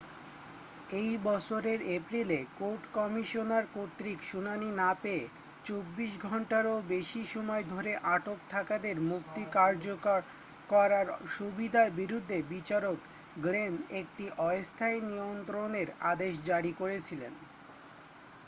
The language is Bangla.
এই বছরের এপ্রিলে কোর্ট কমিশনার কর্তৃক শুনানি না পেয়ে 24 ঘণ্টারও বেশি সময় ধরে আটক থাকাদের মুক্তি কার্যকর করার সুবিধার বিরুদ্ধে বিচারক গ্লেন একটি অস্থায়ী নিয়ন্ত্রণের আদেশ জারি করেছিলেন